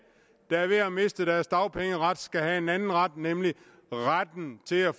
der er ved at miste deres dagpengeret skal have en anden ret nemlig retten til at